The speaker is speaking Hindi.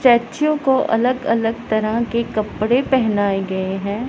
स्टैचू को अलग अलग तरह के कपड़े पहनाए गए हैं।